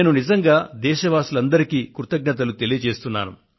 నేను నిజంగా దేశ వాసులందరికీ కృతజ్ఞతలు తెలియజేస్తున్నా